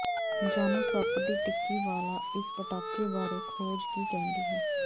ਜਾਣੋ ਸੱਪ ਦੀ ਟਿੱਕੀ ਵਾਲਾ ਇਸ ਪਟਾਕੇ ਬਾਰੇ ਖੋਜ ਕੀ ਕਹਿੰਦੀ ਹੈ